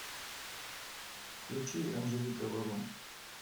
включи анджелика варум